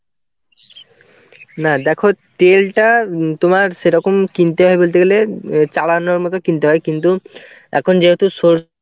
না দেখো তেলটা তোমার সেরকম কিনতে হয় বলতে গেলে অ্যাঁ চালানোর মতো কিনতে হয়. কিন্তু এখন যেহেতু সর~